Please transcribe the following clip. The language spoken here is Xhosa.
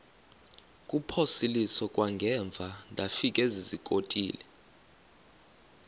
kuphosiliso kwangaemva ndafikezizikotile